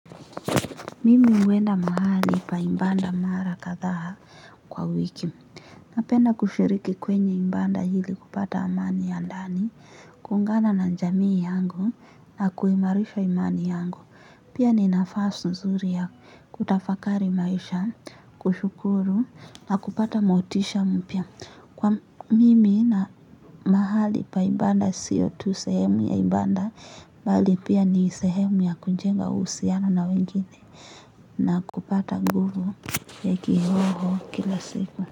Mimi huenda mahali pa ibada mara kadhaa kwa wiki. Napenda kushiriki kwenye ibada ili kupata amani ya ndani. Kuungana na jamii yangu na kuimarisha imani yangu. Pia ni nafasi nzuri ya kutafakari maisha, kushukuru na kupata motisha mpya. Kwa mimi na mahali pa ibada sio tu sehemu ya ibada bali pia ni sehemu ya kujenga uhusiano na wengine na kupata nguvu ya kiroho kila siku.